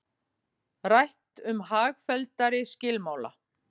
Rætt um hagfelldari skilmála